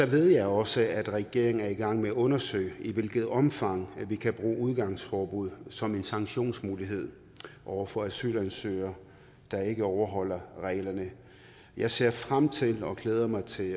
ved jeg også at regeringen er i gang med at undersøge i hvilket omfang vi kan bruge udgangsforbud som en sanktionsmulighed over for asylansøgere der ikke overholder reglerne jeg ser frem til og glæder mig til